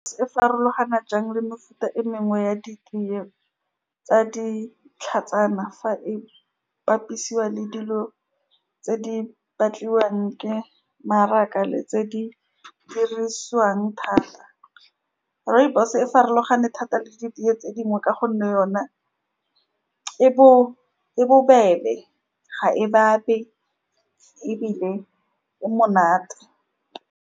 Se farologana jang le mefuta e mengwe ya ditee tsa ditlhatsana, fa e bapisiwa le dilo tse di batliwang ke maraka le tse di dirisiwang thata, rooibos-e e farologane thata le diteye tse dingwe ka gonne yone e bo, e bo bebe, ga e , ebile e monate.